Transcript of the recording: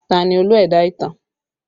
Ta ni Olú ẹ̀dá ìtàn?